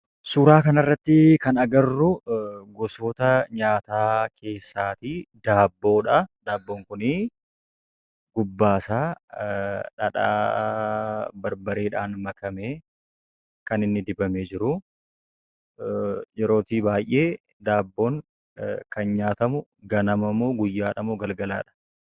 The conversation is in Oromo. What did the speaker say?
Suuraa kanarratti, kan arginu gosoota nyaataa keessaa daabboodha. Daabboon kunii, gubbaasaa, dhadhaa barbareedhaan makamee, kaninni dibamee jiru. Yeroo baay'ee daabboon kun, kan nyaatamu ganamamoo? guyyaadhamoo?,galgalaadha?